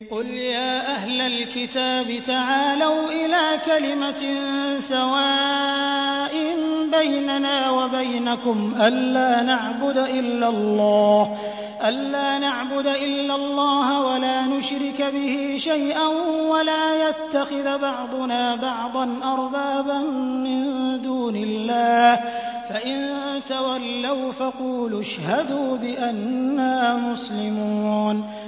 قُلْ يَا أَهْلَ الْكِتَابِ تَعَالَوْا إِلَىٰ كَلِمَةٍ سَوَاءٍ بَيْنَنَا وَبَيْنَكُمْ أَلَّا نَعْبُدَ إِلَّا اللَّهَ وَلَا نُشْرِكَ بِهِ شَيْئًا وَلَا يَتَّخِذَ بَعْضُنَا بَعْضًا أَرْبَابًا مِّن دُونِ اللَّهِ ۚ فَإِن تَوَلَّوْا فَقُولُوا اشْهَدُوا بِأَنَّا مُسْلِمُونَ